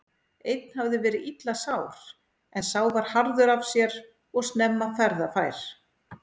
Einn hafði verið illa sár en sá var harður af sér og snemma ferðafær.